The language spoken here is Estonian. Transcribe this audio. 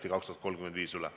Aivar Sõerd, palun!